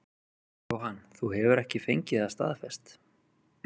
Jóhann: Þú hefur ekki fengið það staðfest?